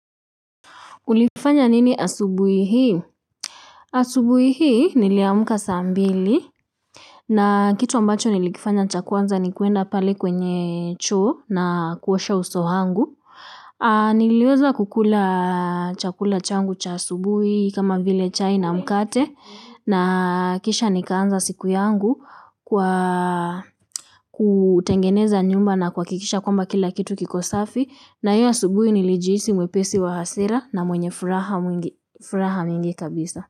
Ulifanya nini asubui hii? Asubuhi hii niliamka saa mbili. Na kitu ambacho nilikifanya cha kwanza ni kuenda pale kwenye choo na kuosha uso wangu. Niliweza kukula chakula changu cha asubui kama vile chai na mkate. Na kisha nikaanza siku yangu kwa kutengeneza nyumba na kuhakikisha kwamba kila kitu kiko safi na hiyo asubuhi nilijihisi mwepesi wa hasira na mwenye furaha mingi kabisa.